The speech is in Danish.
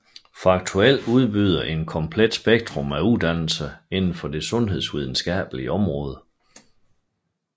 Fakultetet udbyder et komplet spektrum af uddannelser inden for det sundhedsvidenskabelige område